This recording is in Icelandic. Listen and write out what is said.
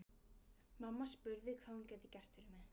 Mamma spurði hvað hún gæti gert fyrir mig.